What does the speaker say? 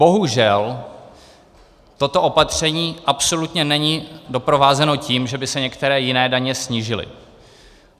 Bohužel, toto opatření absolutně není doprovázeno tím, že by se některé jiné daně snížily.